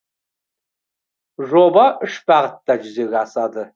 жоба үш бағытта жүзеге асады